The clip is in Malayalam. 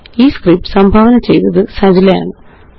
ഈ സ്ക്രിപ്റ്റ് സംഭാവന ചെയ്തത് അനൂപ്എംആര് ആണ്